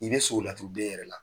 I be suko laturu den yɛrɛ la.